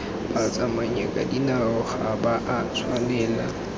batsamayakadinao ga ba a tshwanela